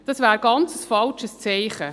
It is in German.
Das wäre ein ganz falsches Zeichen.